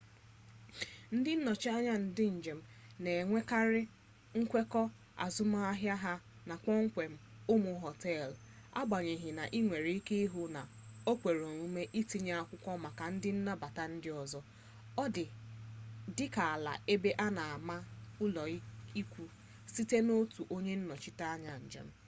ndị nnọchi anya ndị njem na-enwekarị nkwekọ azụmahịa ha na kpọmkwem ụmụ họteelụ agbanyeghị na ị nwere ike ịhụ na o kwere omume itinye akwụkwọ maka ụdị nnabata ndị ọzọ dị ka ala ebe a na-ama ụlọikwu sitere n'otu onye nnọchite anya njem